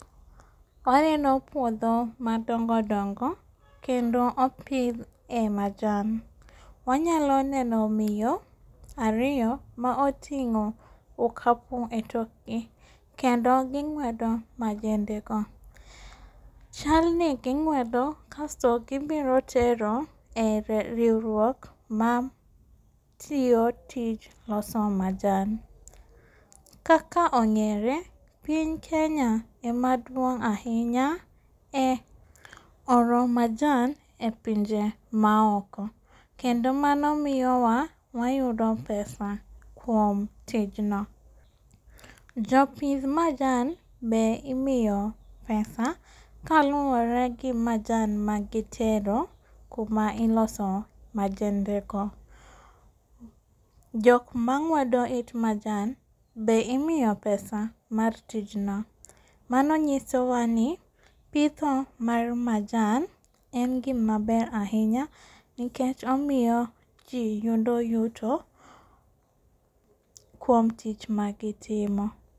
Waneno puodho madongo dongo, kendo opidh e majan. Wanyalo neno miyo ariyo maoting'o okapu e tokgi, kendo ging'wedo majendego. Chalni ging'wedo kasto gibiro tero e riuruok matiyo tij loso majan. Kaka ong'ere piny Kenya ema duong' ahinya e oro majan e pinje maoko, kendo mano miyowa wayudo pesa kuom tijno. Jopidh majan be imiyo pesa kaluore gi majan magitero kuma iloso majendego. Jokma ng'wedo it majan be imiyo pesa mar tijno, mani nyisowani pidho mar majan en gima ber ahinya, nikech omiyo jii yudo yuto kuom tich magitimo.